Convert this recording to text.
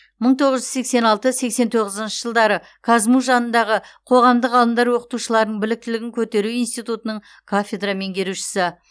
мың тоғыз жүз сексен алтыншы сексен тоғызыншы жылдары қазму жанындағы қоғамдық ғылымдар оқытушыларының біліктілігін көтеру институтының кафедра меңгерушісі